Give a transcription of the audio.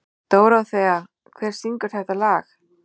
Dóróþea, hver syngur þetta lag?